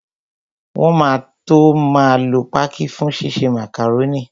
Wọn máa tó máa lo pákí fún ṣíṣe màkàrónì